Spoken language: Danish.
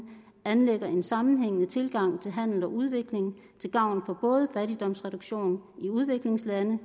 anlægger en sammenhængende tilgang til handel og udvikling til gavn for både fattigdomsreduktion i udviklingslande